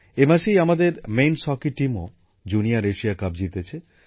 এই মাসেই আমাদের পুরুষদের হকি দলও জুনিয়র এশিয়া কাপ জিতেছে